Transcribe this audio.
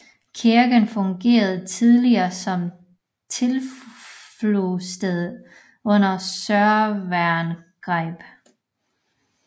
Kirken fungerede tidligere som tilflugtsted under sørøverangreb